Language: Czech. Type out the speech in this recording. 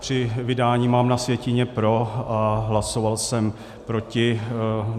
Při vydání mám na sjetině pro a hlasoval jsem proti.